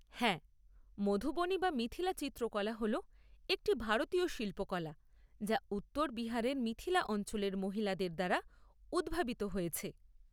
হ্যাঁ, মধুবনী বা মিথিলা চিত্রকলা হল একটি ভারতীয় শিল্পকলা যা উত্তর বিহারের মিথিলা অঞ্চলের মহিলাদের দ্বারা উদ্ভাবিত হয়েছে।